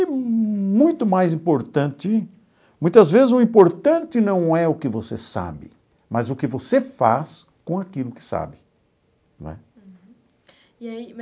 É muito mais importante, muitas vezes o importante não é o que você sabe, mas o que você faz com aquilo que sabe, não é? Uhum, e aí